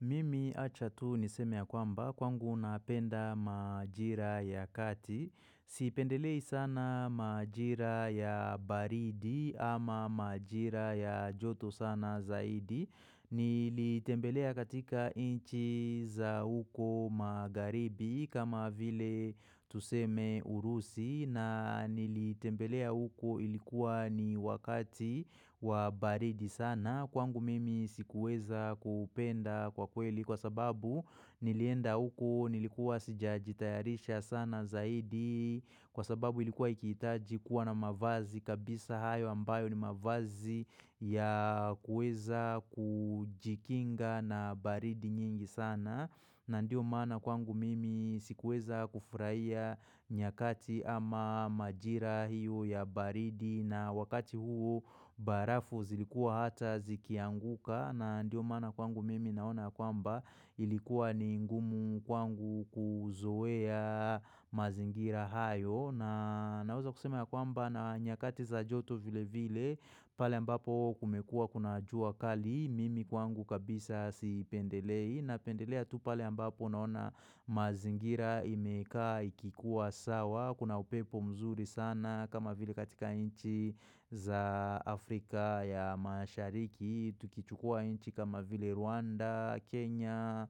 Mimi acha tu niseme ya kwamba kwangu napenda majira ya kati Sipendelei sana majira ya baridi ama majira ya joto sana zaidi Nilitembelea katika inchi za huko magharibi kama vile tuseme urusi na nilitembelea huko ilikuwa ni wakati wa baridi sana kwangu mimi sikuweza kupenda kwa kweli kwa sababu nilienda huko nilikuwa sijajitayarisha sana zaidi kwa sababu ilikuwa ikihitaji kuwa na mavazi kabisa hayo ambayo ni mavazi ya kuweza kujikinga na baridi nyingi sana. Na ndio maana kwangu mimi sikuweza kufurahia nyakati ama majira hiyo ya baridi na wakati huo barafu zilikuwa hata zikianguka na ndio maana kwangu mimi naona kwamba ilikuwa ni ngumu kwangu kuzoea mazingira hayo. Na naweza kusema ya kwamba na nyakati za joto vile vile pale ambapo kumekuwa kuna jua kali mimi kwangu kabisa si pendelei na pendelea tu pale mbapo naona mazingira imeka ikikuwa sawa kuna upepo mzuri sana kama vile katika inchi za Afrika ya mashariki Tukichukua inchi kama vile Rwanda, Kenya,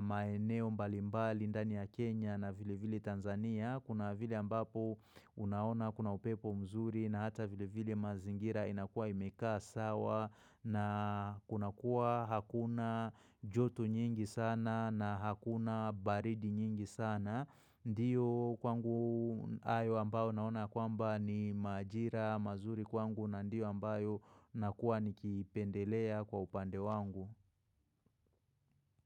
maeneo mbalimbali, ndani ya Kenya na vile vile Tanzania. Kuna vile ambapo unaona kuna upepo mzuri na hata vile vile mazingira inakua imekaa sawa na kunakua hakuna joto nyingi sana na hakuna baridi nyingi sana. Ndiyo kwangu ayo ambao naona kwamba ni majira mazuri kwangu na ndiyo ambayo nakuwa nikipendelea kwa upande wangu.